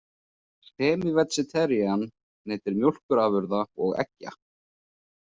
„Semivegetarian“ neytir mjókurafurða og eggja.